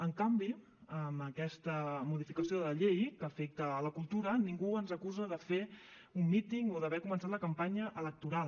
en canvi amb aquesta modificació de la llei que afecta la cultura ningú ens acusa de fer un míting o d’haver començat la campanya electoral